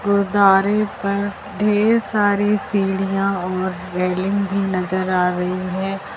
गुरुद्वारे पर ढेर सारी सीढ़ियां और रेलिंग भी नजर आ रही है।